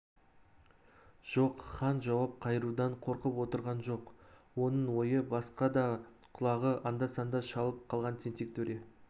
жоқ хан жауап қайырудан қорқып отырған жоқ оның ойы басқада құлағы анда-санда шалып қалған тентек төре